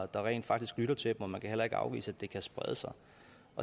der rent faktisk lytter til og man kan heller ikke afvise at det kan sprede sig